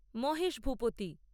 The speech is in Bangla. মহেশ ভূপতি